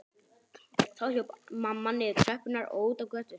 Þá hljóp mamma niður tröppurnar og út á götu.